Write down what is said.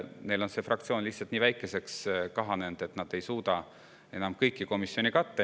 Neil on see fraktsioon lihtsalt nii väikeseks kahanenud, et nad ei suuda enam kõiki komisjone katta.